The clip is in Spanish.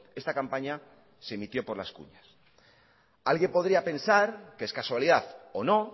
esta campaña se emitió por las cuñas alguien podría pensar que es casualidad o no